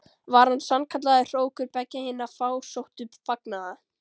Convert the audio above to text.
Var hann sannkallaður hrókur beggja hinna fásóttu fagnaða.